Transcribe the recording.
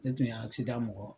Ne tun be mɔgɔ.